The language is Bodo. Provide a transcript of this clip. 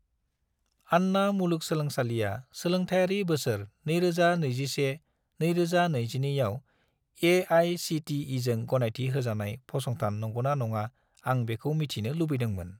आन्ना मुलुगसोलोंसालिआ सोलोंथायारि बोसोर 2021 - 2022 आव ए.आइ.सि.टि.इ.जों गनायथि होजानाय फसंथान नंगौना नङा आं बेखौ मिथिनो लुबैदोंमोन।